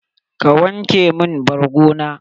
ka wanke mun borgo na?